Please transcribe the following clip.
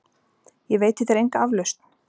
Ég veiti þér enga aflausn!